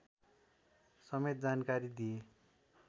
समेत जानकारी दिए